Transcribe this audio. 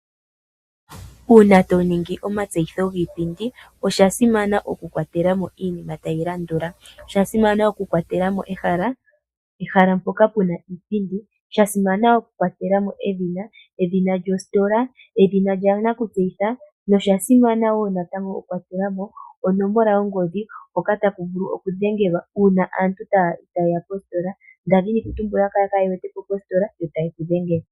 Uuna to ningi omatseyitho giipindi osha simana oku kwatela mo iinima tayi landula. Osha simana oku kwatela mo ehala, ehala mpoka puna iipindi, sha simana oku kwatela mo edhina, edhina lyositola, edhina lya nakutseyitha. Nosha simana wo natango oku kwatela mo onomola yo ngodhi hoka taku vulu oku dhengelwa uuna aantu ta yeya poositola. Nda dhini kutumbula ngele kaye wete po positola yo ta ye ku dhengele.